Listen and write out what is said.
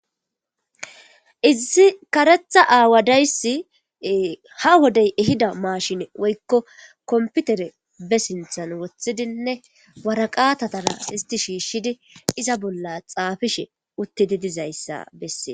izsi karetha aawa dayssi ha wodey ehida maashine woykko kompitere be sinthan wothidinne waraqatatara isti shiishshidi iza bolla xaafishe uttidi dizayssa bessee